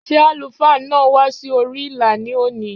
Ṣé àlùfáà náà wá sí orí ìlà ní òní?